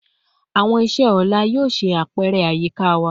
Awọn iṣe ọla yoo ṣe apẹrẹ ayika wa